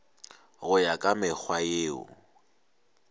go ya ka mekgwa yeo